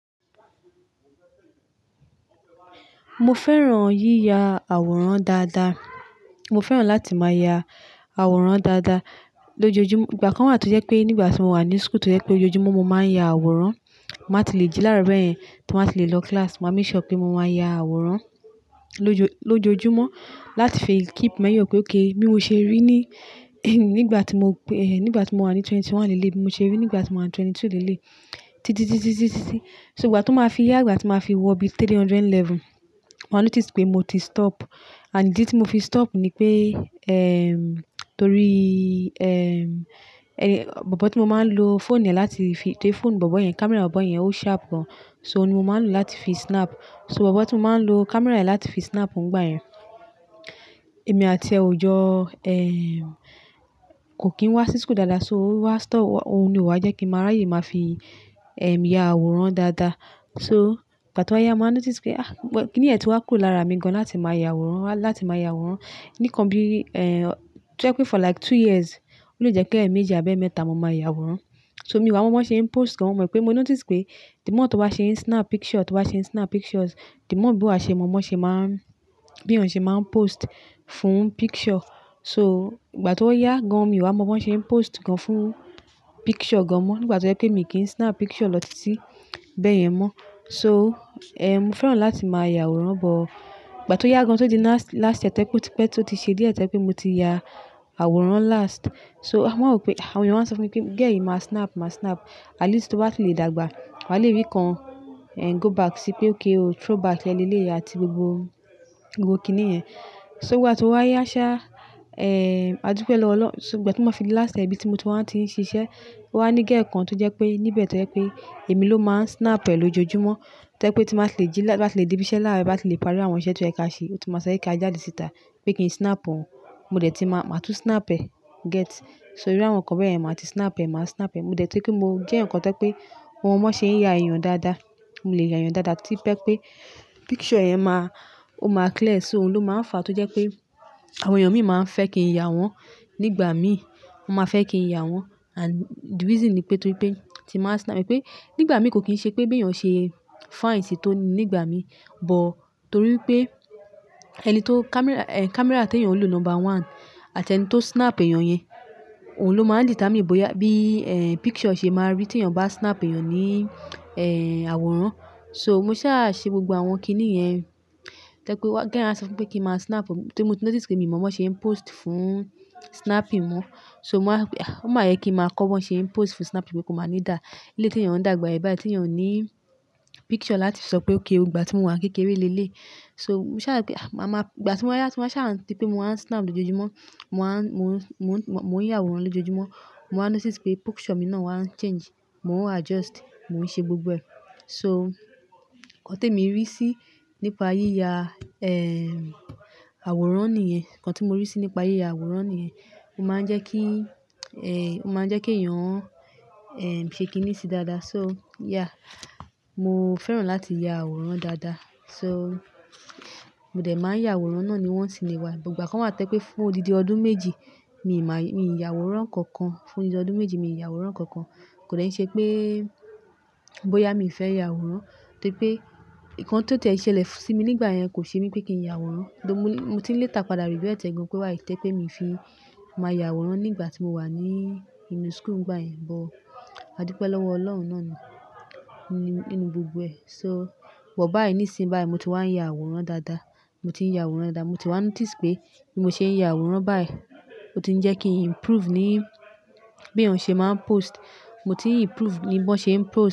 Mo fẹ́ràn yíya àwòrán dáadáa. Mo fẹ́ràn láti máa ya àwòrán dáadáa lójoojúmọ́. Ìgbà kan wà tó jẹ́ pé nígbà tí mo wà ní school tó jẹ́ pé lójoojúmọ́ mo máa ń ya àwòrán, màá ti le jí láàárọ̀ bẹ́ẹ̀ yẹn tí mo máa ti le lọ class. Mo máa make sure pé mo máa ya àwòrán lojo lójoojúmọ́ láti fi keep memory pé ókè mi ò ṣe rí ní, nígbà tí mo wà ní mọ́kànlélógún lé lé bí mo ṣe rí nígbà tí mo wà ní méjìlélógún leleyi Títí, títí, títí. So ìgbà tí ó máa fi yá, ìgbà tí ó máa fi wọ bí three hundred level, màá notice pé mo ti stop. And idi tí mo fi stop ni pé, ehm, torí, ehm, bobo tí mo máa ń lo phone e láti fi, tóri phone bobo yẹn, camera bobo yẹn ó sharp gan. So òun ni mo máa ń lò láti fi snap. So bobo tí mo máa ń lo camera rẹ̀ láti fi snap òun ìgbà yẹn, èmi àti ẹ jọ, ehm, kò kín wá sí school dáadáa. So ó wá stop, òun ni ó wá jẹ́ kí màá ráyè máa fi, ehm, ya àwòrán dáadáa. So ìgbà tí o wa yá, mo wá notice pé ah, kìni yẹn ti wá kúrò lára mi gan láti máa ya àwòrán, láti máa ya àwòrán. Ni kan bí, eh, to je pe for like two years, ó le jẹ pe bí eemeji abi mẹ́ta mo máa ya àwòrán. So mi wà mọ́ bí wọ́n ṣe ń post gan, mo mọ̀ pé mo notice pé the more tó wá ṣe ń snap picture, tó wá ṣe ń snap pictures, the more bí a ṣe mọ́ bí wọ́n ṣe máa ń, bí èèyàn ṣe máa ń post fún picture. So ìgbà tí ó yá gan, mi o wà mọ bí wọ́n ṣe ń post gan fún picture gan mọ́. Ni ìgbà tó jẹ́ pé mi kì í snap picture lọ títí bẹ́ẹ̀ yẹn mọ́. So, ehm, mo fẹ́ràn láti máa ya àwòrán, but ìgbà tí ó yá gan tó di last, last year tẹ́kùn pé tó ti ṣe díẹ̀ tẹ́kùn pé mo ti ya àwòrán last. So wọ́n máa rò pé, àwọn èèyàn máa ń sọ fún mi pé "Girl yii ma snap, ma snap. At least tó bá ti le dàgbà, wàá le rí kan, eh, go back sí pé ókay o, throwback ẹ lé lé yii àti gbogbo, gbogbo kìnìiyẹn". So ìgbà tí o wa yá ṣá, eh, Adúpẹ́ lọ́wọ́ Ọlọ́run. So ìgbà tí mo fi le last year bí tí mo ti wá ti ń ṣiṣẹ́, O wá ní girl kan tó jẹ́ pé níbẹ̀ tó jẹ́ pé èmi ló máa ń snap e lójoojúmọ́. To je pe tí màá ti le jí ti m bá ti le débí iṣẹ́ láàárọ̀, bá ti le parí àwọn iṣẹ́ tó yeẹ̀ ka ṣe, ó ti máa ṣe kí a jáde síta pé kí n snap òun. Mo dẹ̀ ti máa, màá tún snap ẹ, get. So irú àwọn nǹkan bẹ́ẹ̀ yẹn, màá ti snap ẹ, màá snap ẹ. Mo dẹ̀ tún kí mo jẹ́ eyan kan to je pe mo mo bo se n ya eyàn dáadáa. Mo lè ya ìyàn dáadáa tí to jẹ́ pé picture yẹn máa, ó máa clear. So òun ló máa ń fa tó jẹ́ pé àwọn èèyàn mi máa ń fẹ́ kí n ya wọ́n. Nígbà mí, wọ́n máa fẹ́ kí n ya wọ́n. And the reason ni pé torí pé tí màá snap ni pé nígbà mí kò kín ṣe pé bí èèyàn ṣe fine sí i tó ní ìgbà mí. But torí pé ẹni tó camera, eh, camera tí èèyàn ń lò number one àti ẹni tó snap èèyàn yẹn, òun ló máa ń determine bóyá bí, eh, picture ṣe máa rí tí èèyàn bá snap èèyàn ní, eh, àwòrán. So mo sá à ṣe gbogbo àwọn kìnì yẹn. To je pé wọ́n, girl á sọ fún pé kí n máa snap. Torí mo ti notice pé mi mọ bí wọ́n ṣe ń post fún snapping mo So mo wa wipe ah o máa yẹ kí n máa kọ bí wọ́n ṣe ń post fún snap pe kó máa ní dàá. Ilé tí èèyàn ń dàgbà, ìbà tí èèyàn ní picture láti sọ pé ókè o ìgbà tí mo wà kékeré lé lé yii So mo sá à pé màá máa, ìgbà tí wọ́n yá tí wọ́n sá à ti pé mo wá ń snap lójoojúmọ́, mo wá ń, mo ń, mo ń, mo ń ya àwòrán lójoojúmọ́, mo wá notice pé picture mi náà wá ń change. Mo ń adjust, mo ń ṣe gbogbo ẹ. So nǹkan tí mo rí sí nípa yíya, ehm, àwòrán nìyẹn. Nǹkan tí mo rí sí nípa yíya àwòrán nìyẹn. Ó máa ń jẹ́ kí, eh, ó máa ń jẹ́ kí èèyàn, eh, ṣe kìnì sí dáadáa. So yeah, mo fẹ́ràn láti ya àwòrán dáadáa. So mo dẹ̀ máa ń ya àwòrán náà ni once in a while. Ìgbà kan wà to je pé fún odidi ọdún méjì, mi ì máa yí, mi ì ya àwòrán kankan. Fún odidi ọdún méjì, mi ì ya àwòrán kankan. Kò dẹ́ ṣe pé bóyá mi fẹ́ ya àwòrán torí pé nǹkan tó tiẹ̀ ṣẹlẹ̀ sí mi nígbà yẹn kò ṣe mí pé kí n ya àwòrán. Torí mo ní, mo ti ní leta padà regreti ẹ́ tẹ́lẹ̀ gan pé wai í toripe mi ò fi máa ya àwòrán nígbà tí mo wà ní inú school ìgbà yẹn. But Adúpẹ́ lọ́wọ́ Ọlọ́run náà ni nínú gbogbo ẹ. So but báyìí nísinsìnyí báyìí mo ti wá ń ya àwòrán dáadáa. Mo ti ń ya àwòrán dáadáa. Mo ti wá notice pé bí mo ṣe ń ya àwòrán báyìí, ó ti ń jẹ́ kí n improve ní bí èèyàn ṣe máa ń post. Mo ti improve ní bí wọ́n ṣe ń post.